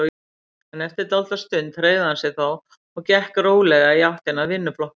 En eftir dálitla stund hreyfði hann sig þó og gekk rólega í áttina að vinnuflokknum.